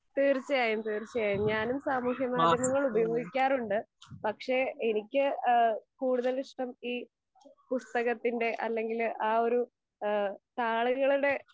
തീർച്ചയായും തീർച്ചയായും. ഞാനും സാമൂഹ്യ മാധ്യമങ്ങൾ ഉപയോഗിക്കാറുണ്ട്. പക്ഷെ, എനിക്ക് ഇഹ് കൂടുതൽ ഇഷ്ട്ടം ഈ പുസ്തകത്തിൻ്റെ, അല്ലെങ്കി ആ ഒരു താളുകളുടെ